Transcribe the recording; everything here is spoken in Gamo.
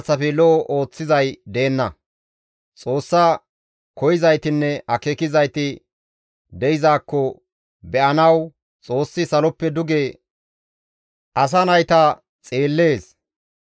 Xoossa koyzaytinne akeekizayti de7izakko be7anawu Xoossi saloppe duge asa nayta xeellees.